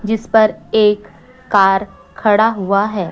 जिस पर एक कार खड़ा हुआ है।